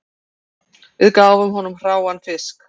Við gáfum honum hráan fisk